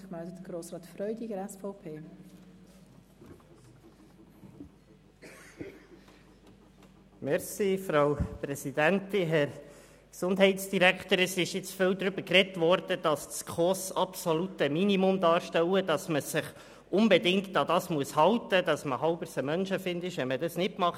Es wurde jetzt viel darüber gesprochen, dass die SKOS-Richtlinien das absolute Minimum darstellen, man sich unbedingt daran halten müsse und man ein halber Menschenfeind sei, wenn man dies nicht tue.